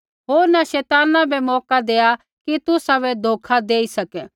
होर न शैताना बै मौका देआ कि तुसाबै धोखा देई सकै